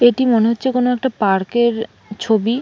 এটি মনে হচ্ছে কোনো একটা পার্ক -এর ছবি-ই।